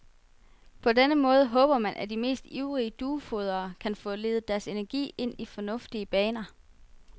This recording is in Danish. På den måde håber man, at de mest ivrige duefodrere kan få ledet deres energi ind i fornuftige baner.